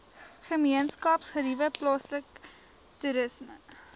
gemeenskapsgeriewe plaaslike toerisme